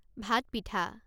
ভাত পিঠা